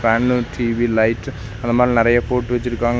ஜன்னல் TV light அந்த மாரி நறைய போட்டு வெச்சிருக்காங்க.